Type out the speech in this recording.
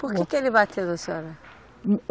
Por que que ele bateu na senhora?